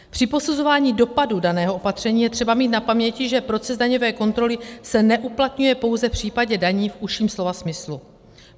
Při posuzování dopadů daného opatření je třeba mít na paměti, že proces daňové kontroly se neuplatňuje pouze v případě daní v užším slova smyslu.